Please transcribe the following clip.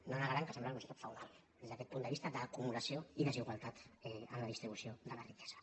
no negaran que sembla una societat feudal des d’aquest punt de vista d’acumulació i desigualtat en la distribució de la riquesa